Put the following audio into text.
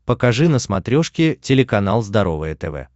покажи на смотрешке телеканал здоровое тв